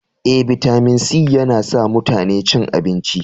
E, bitamin C yana sa mutane cin abinci.